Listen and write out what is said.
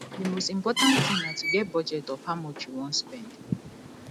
di most important thing na to get budget of how much you wan spend